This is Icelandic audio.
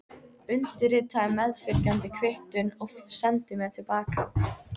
Undirritaðu meðfylgjandi kvittun og sendu mér til baka.